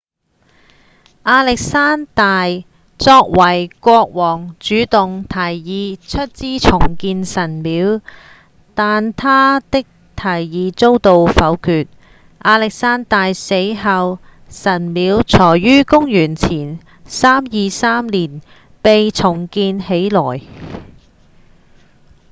亞歷山大作為國王主動提議出資重建神廟但他的提議遭到否決亞歷山大死後神廟才於公元前323年被重建起來